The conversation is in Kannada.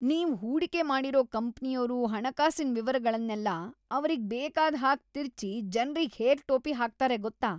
ನೀವ್‌ ಹೂಡಿಕೆ ಮಾಡಿರೋ ಕಂಪ್ನಿಯೋರು ಹಣಕಾಸಿನ್ ವಿವರಗಳ್ನೆಲ್ಲ ಅವ್ರಿಗ್‌ ಬೇಕಾದ್‌ ಹಾಗ್‌ ತಿರ್ಚಿ ಜನ್ರಿಗ್‌ ಹೇಗ್‌ ಟೋಪಿ ಹಾಕ್ತಾರೆ ಗೊತ್ತಾ?